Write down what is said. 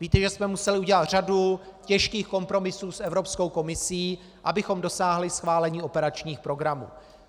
Víte, že jsme museli udělat řadu těžkých kompromisů s Evropskou komisí, abychom dosáhli schválení operačních programů.